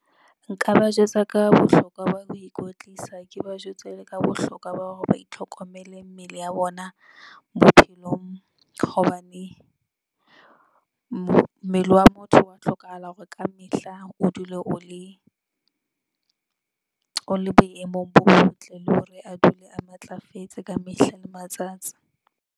Nka ba jwetsa ka bohlokwa ba ho ikwetlisa, ke ba jwetse le ka bohlokwa ba hore ba itlhokomele mmele ya bona bophelong hobane, mmele wa motho ho hlokahala hore ka mehla o dule o le, o le boemong bo botle, le hore a dule a matlafetse ka mehla le matsatsi.